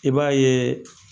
I b'a yeee